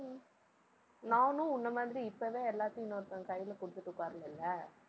நானும் உன்னை மாதிரி இப்பவே எல்லாத்தையும் இன்னொருத்தன் கையில கொடுத்துட்டு உட்கார்லலை?